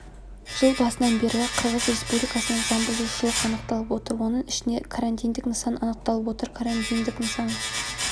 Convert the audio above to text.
жыл басынан бері қырғыз республикасынан заңбұзушылық анықталып отыр оның ішінде карантиндік нысан анықталып отыр карантиндік нысан